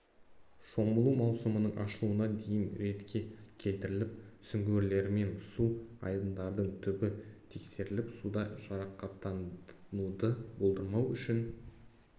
шомылу маусымының ашылуына дейін ретке келтіріліп сүңгуірлермен су айдындардың түбі тексеріліп суда жарақаттануды болдырмау үшін